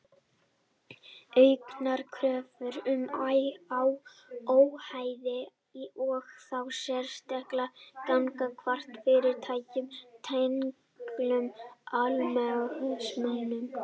Auknar kröfur um óhæði og þá sérstaklega gagnvart fyrirtækjum tengdum almannahagsmunum.